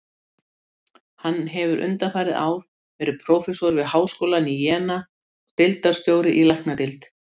Hann hefur undanfarið ár verið prófessor við háskólann í Jena og deildarstjóri í læknadeild.